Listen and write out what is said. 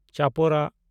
ᱪᱟᱯᱚᱨᱟ